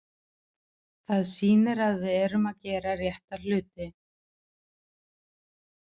Það sýnir að við erum að gera rétta hluti.